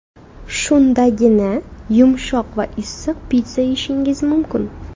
Shundagina, yumshoq va issiq pitssa yeyishingiz mumkin.